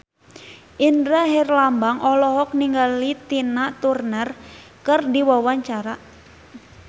Indra Herlambang olohok ningali Tina Turner keur diwawancara